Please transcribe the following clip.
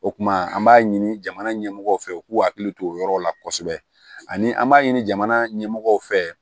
O kumana an b'a ɲini jamana ɲɛmɔgɔw fɛ u k'u hakili to o yɔrɔ la kosɛbɛ ani an b'a ɲini jamana ɲɛmɔgɔw fɛ